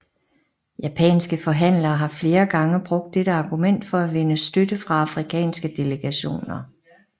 Japanske forhandlere har flere gange brugt dette argument for at vinde støtte fra afrikanske delegationer